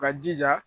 Ka jija